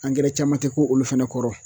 Angɛrɛ caman te ke olu fɛnɛ kɔrɔ